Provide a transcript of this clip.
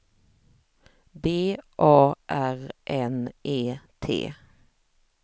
B A R N E T